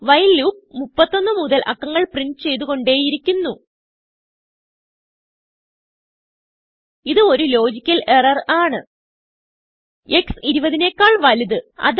while loop 31മുതൽ അക്കങ്ങൾ printചെയ്തു കൊണ്ടേയിരിക്കുന്നു ഇത് ഒരു ലോജിക്കൽ എറർ ആണ് ക്സ്20 നെക്കാൾ വലുത്